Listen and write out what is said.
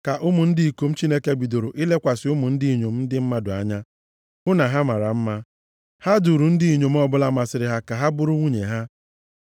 ka ụmụ ndị ikom Chineke bidoro ilekwasị ụmụ ndị inyom ndị mmadụ anya, hụ na ha mara mma. Ha duuru ndị inyom ọbụla masịrị ha ka ha bụrụ nwunye ha.